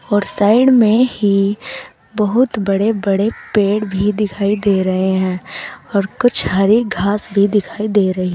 और साइड में ही बहोत बड़े बड़े पेड़ भी दिखाई दे रहे हैं और कुछ हरी घास भी दिखाई दे रही--